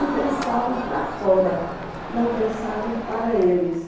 E dançavam para fora, não dançavam para eles.